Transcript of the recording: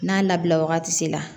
N'a labila wagati se la